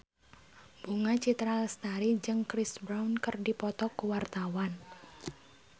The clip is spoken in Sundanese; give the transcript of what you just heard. Bunga Citra Lestari jeung Chris Brown keur dipoto ku wartawan